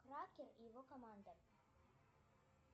и его команда